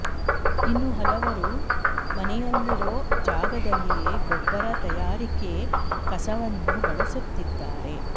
ಇನ್ನು ಹಲವರು ಮನೆಯಲ್ಲಿರೋ ಜಾಗದಲ್ಲಿಯೇ ಗೊಬ್ಬರ ತಯಾರಿಕೆಗೆ ಕಸವನ್ನು ಬಳಸುತ್ತಿದ್ದಾರೆ